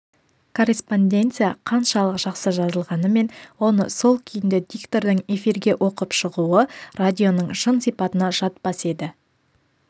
корреспонденция қаншалық жақсы жазылғанымен оны сол күйінде диктордың эфирге оқып шығуы радионың шын сипатына жатпас еді